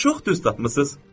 Siz çox düz tapmısınız.